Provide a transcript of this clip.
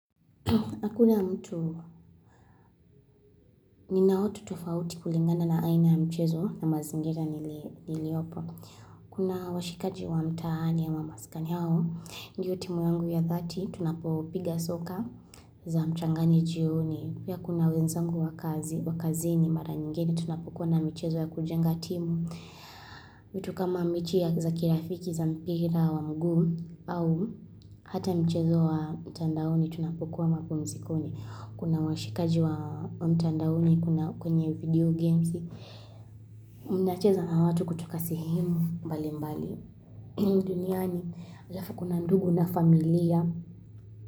Hakuna mtu, nina watu tufauti kulingana na aina ya mchezo na mazingira niliopo. Kuna washikaji wa mtaani ama maskani hao. Ndiyo timu yangu ya dhati, tunapopiga soka za mchangani jioni. Ya kuna wenzangu wa kazi, wa kazini, mara nyingeni, tunapokuwa na mchezo ya kujenga timu. Mitu kama mechi ya za kirafiki, za mpira, wa mguu, au hata mchezo wa mtandaoni, tunapokuwa mapumzikoni. Kuna washikaji wa mtandaoni kuna kwenye video games Unacheza na watu kutoka sehemu mbali mbali duniani, alafu kuna ndugu na familia.